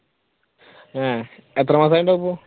എത്ര മാസം ആയിട്ടുണ്ടാകും ഇപ്പൊ?